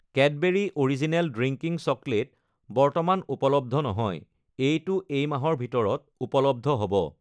Cadbury original drinking chocolate বৰ্তমান উপলব্ধ নহয়, এইটো এই মাহৰ ভিতৰত ঊপলব্ধ হ'ব।